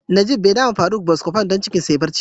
Nageef be da ma Faruk " Buscofen " don cikin da ya bar ciwo.